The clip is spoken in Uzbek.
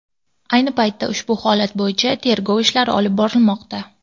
Ayni paytda ushbu holat bo‘yicha tergov ishlari olib borilmoqda.